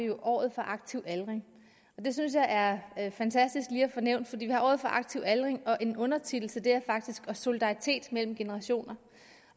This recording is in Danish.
har året for aktiv aldring det synes jeg er fantastisk lige at få nævnt for vi har året for aktiv aldring og en undertitel til det er faktisk solidaritet mellem generationer